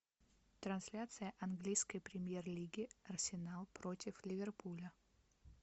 трансляция английской премьер лиги арсенал против ливерпуля